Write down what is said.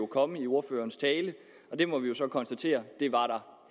komme i ordførerens tale men det må vi jo så konstatere